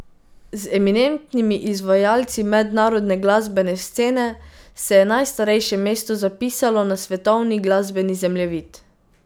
Z eminentnimi izvajalci mednarodne glasbene scene se je najstarejše mesto zapisalo na svetovni glasbeni zemljevid.